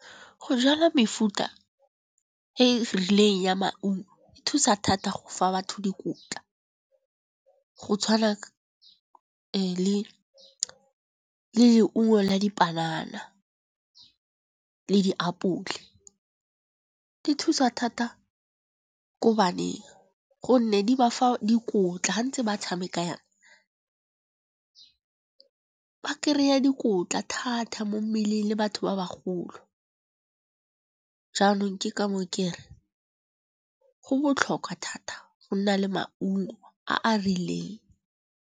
Go jala mefuta e rileng ya maungo e thusa thata go fa batho dikotla. Go tshwana le leungo la dipanana le diapole. Di thusa thata ko baneng, gonne di ba fa dikotla ga ntse ba tshameka yana. Ba kry-a dikotla thata mo mmeleng le batho ba bagolo, jaanong ke ka moo ke re go botlhokwa thata go nna le maungo a a rileng.